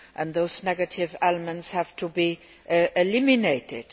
Those negative elements have to be eliminated.